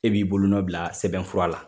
E b'i bolonɔn bila sɛbɛnfura la